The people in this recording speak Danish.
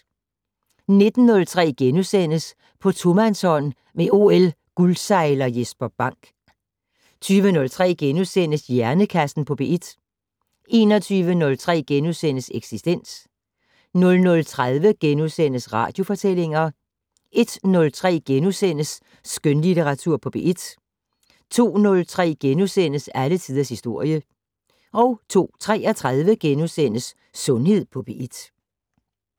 19:03: På tomandshånd med OL-guldsejler Jesper Bank * 20:03: Hjernekassen på P1 * 21:03: Eksistens * 00:30: Radiofortællinger * 01:03: Skønlitteratur på P1 * 02:03: Alle tiders historie * 02:33: Sundhed på P1 *